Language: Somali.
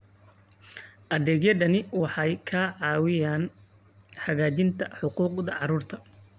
Adeegyadani waxay ka caawinayaan xaqiijinta xuquuqda carruurta.